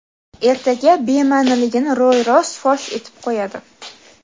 ertaga bemaʼniligini ro‘y-rost fosh etib qo‘yadi.